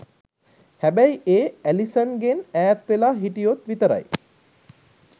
හැබැයි ඒ ඇලිසන්ගෙන් ඈත් වෙලා හිටියොත් විතරයි.